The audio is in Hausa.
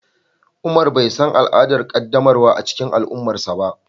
umar bai san al'adar qaddamarwa a cikin al'ummarsa ba.